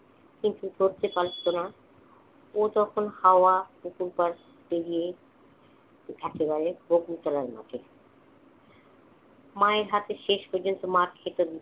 কিন্তু ধরতে পারত না। ও তখন হাওয়া। পুকুর পাড় পেড়িয়ে একেবারে হকি খেলার মাঠে। মায়ের হাতে শেষ পর্যন্ত মার খেত দিদি।